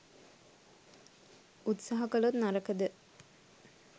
උත්සහ කලොත් නරකද?